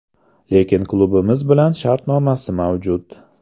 Lekin klubimiz bilan shartnomasi mavjud.